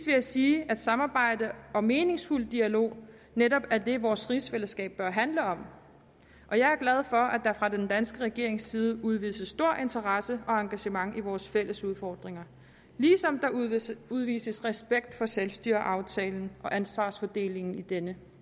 jeg sige at samarbejde og meningsfuld dialog netop er det vores rigsfællesskab bør handle om og jeg er glad for at der fra den danske regerings side udvises stor interesse og engagement for vores fælles udfordringer ligesom der udvises udvises respekt for selvstyreaftalen og ansvarsfordelingen i denne